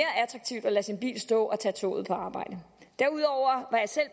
lade sin bil stå og tage toget på arbejde derudover